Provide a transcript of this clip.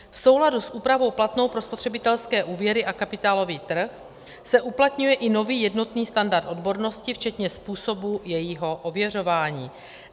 V souladu s úpravou platnou pro spotřebitelské úvěry a kapitálový trh se uplatňuje i nový jednotný standard odbornosti, včetně způsobů jejího ověřování.